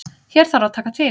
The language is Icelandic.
Hér þarf að taka til.